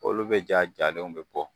Olu bɛ ja jalen bɛ bɔ.